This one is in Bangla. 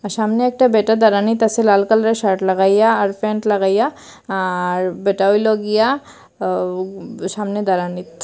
আর সামনে একটা বেটা দারানিত আসে লাল কালারে র শার্ট লাগাইয়া আর প্যান্ট লাগাইয়া আর ব্যাটা হইল গিয়া আ উব সামনে দাঁড়ানিত।